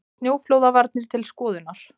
Snjóflóðavarnir til skoðunar